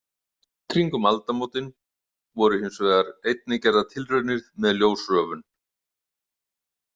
Kringum aldamótin voru hins vegar einnig gerðar tilraunir með ljósröfun.